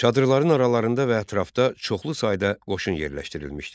Çadırların aralarında və ətrafda çoxlu sayda qoşun yerləşdirilmişdi.